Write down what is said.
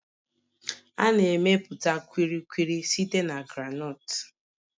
A na-emepụta Kulikuli site na groundnuts